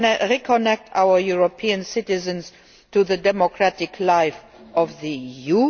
to reconnect our European citizens to the democratic life of the